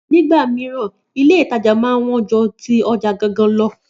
Nígbà mìíràn, Ilé-ìtajà máa ń wọ́n ju ti ọjà gangan lo